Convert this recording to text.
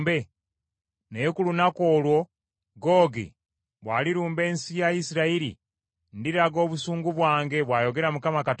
Naye ku lunaku olwo, Googi bw’alirumba ensi ya Isirayiri, ndiraga obusungu bwange, bw’ayogera Mukama Katonda.